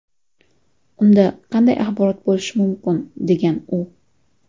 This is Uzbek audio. Unda qanday axborot bo‘lishi mumkin?”, degan u.